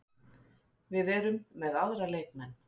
Við erum með aðra leikmenn